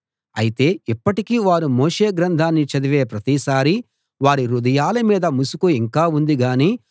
అయితే ఇప్పటికీ వారు మోషే గ్రంథాన్ని చదివే ప్రతిసారీ వారి హృదయాల మీద ముసుకు ఇంకా ఉంది గాని